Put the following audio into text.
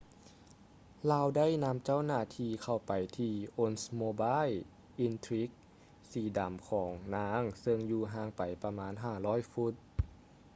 ລາວໄດ້ນຳເຈົ້າໜ້າທີ່ເຂົ້າໄປທີ່ oldsmobile intrigue ສີດຳຂອງນາງເຊິ່ງຢູ່ຫ່າງໄປປະມານ 500 ຟຸດ